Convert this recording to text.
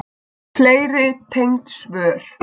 Fleiri tengd svör